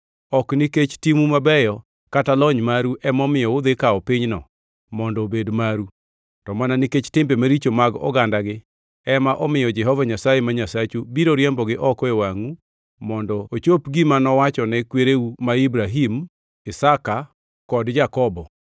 Ok nikech timu mabeyo kata lony maru emomiyo udhi kawo pinyno mondo obed maru; to mana nikech timbe maricho mag ogandagi ema miyo Jehova Nyasaye ma Nyasachu biro riembogi oko e wangʼu mondo ochop gima nowachone kwereu ma Ibrahim, Isaka kod Jakobo.